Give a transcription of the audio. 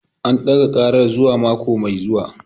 An ɗaga karar zuwa mako mai zuwa